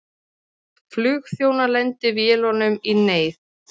Flugþjónar lendi vélunum í neyð